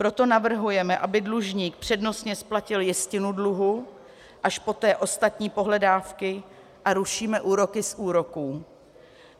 Proto navrhujeme, aby dlužník přednostně splatil jistinu dluhu, až poté ostatní pohledávky, a rušíme úroky z úroků.